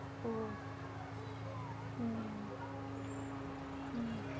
ஓ உம் உம்